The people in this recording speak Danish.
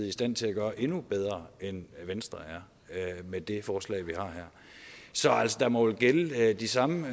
i stand til at gøre endnu bedre end venstre er med det forslag vi har her så der må vel gælde de samme